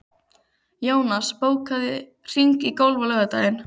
Jónas, bókaðu hring í golf á laugardaginn.